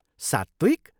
सात्विक!